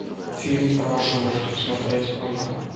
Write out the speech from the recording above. фильм про животных смотреть онлайн